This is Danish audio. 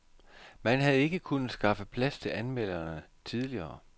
Man havde ikke kunnet skaffe plads til anmelderne tidligere.